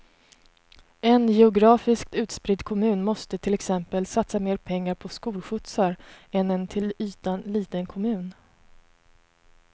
En geografiskt utspridd kommun måste till exempel satsa mer pengar på skolskjutsar än en till ytan liten kommun.